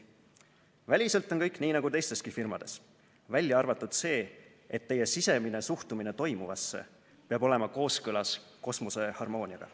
Väliselt on kõik nii nagu teisteski firmades, välja arvatud see, et teie sisemine suhtumine toimuvasse peab olema kooskõlas kosmose harmooniaga."